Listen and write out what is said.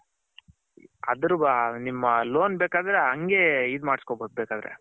ನಿಮ್ಮ ಲೋನ್ ಬೇಕಾದರೆ ಹಂಗೇ ಇದು ಮಾಡಸ್ಕೊಬೌದು ಬೇಕಾದರೆ.